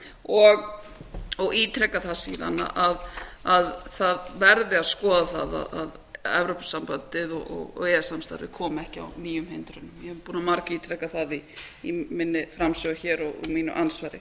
og ítreka það síðan að það verði að skoða það að evrópusambandið og e e s samstarfið komi ekki á nýjum hindrunum ég er búin að margítreka það í minni framsögu og mínu andsvari